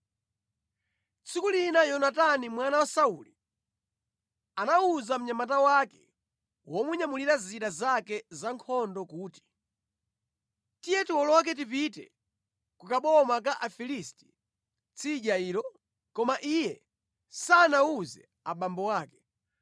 Tsiku lina Yonatani mwana wa Sauli anawuza mnyamata wake womunyamulira zida zake za nkhondo kuti, “Tiye tiwoloke tipite ku kaboma ka Afilisti tsidya ilo.” Koma iye sanawuze abambo ake.